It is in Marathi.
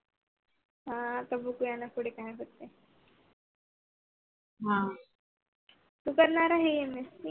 तू करणार MSC